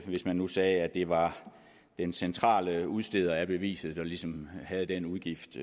man nu sagde at det var den centrale udsteder af beviset der ligesom havde den udgift